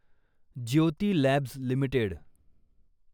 Jyoti labs limited